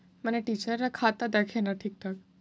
মানে teacher রা খাতা দেখেনা ঠিকঠাক।